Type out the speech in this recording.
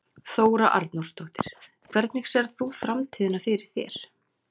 Þóra Arnórsdóttir: Hvernig sérð þú framtíðina fyrir þér?